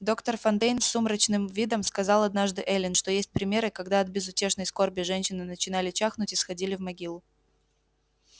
доктор фонтейн с сумрачным видом сказал однажды эллин что есть примеры когда от безутешной скорби женщины начинали чахнуть и сходили в могилу